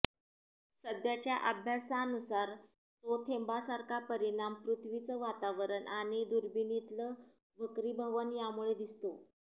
सध्याच्या अभ्यासानुसार तो थेंबासारखा परिणाम पृथ्वीचं वातावरण आणि दुर्बिणीतलं वक्रीभवन यामुळे दिसतो